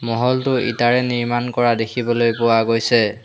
মহলটো ইটাৰে নিৰ্মাণ কৰা দেখিবলৈ পোৱা গৈছে।